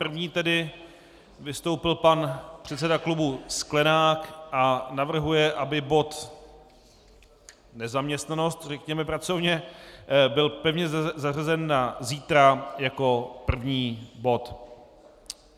První tedy vystoupil pan předseda klubu Sklenák a navrhuje, aby bod "nezaměstnanost", řekněme pracovně, byl pevně zařazen na zítra jako první bod.